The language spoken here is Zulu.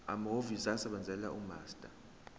amahhovisi asebenzela umaster